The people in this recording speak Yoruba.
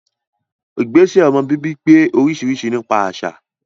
Ìgbésẹ̀ ọmọ bíbí pé oríṣiríṣi nípa àṣà